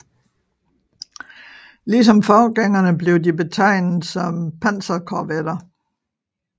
Lige som forgængerne blev de betegnet som panserkorvetter